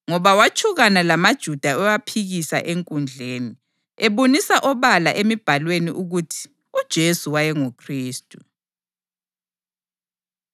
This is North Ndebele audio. Ngoba watshukana lamaJuda ewaphikisa enkundleni, ebonisa obala eMibhalweni ukuthi uJesu wayenguKhristu.